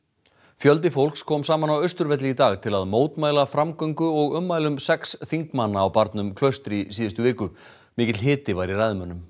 fjöldi fólks kom saman á Austurvelli í dag til að mótmæla framgöngu og ummælum sex þingmanna á barnum Klaustri í síðustu viku mikill hiti var í ræðumönnum